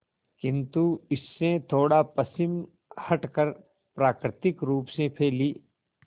किंतु इससे थोड़ा पश्चिम हटकर प्राकृतिक रूप से फैली